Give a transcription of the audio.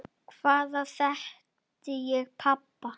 Hvaðan þekkti hún pabba?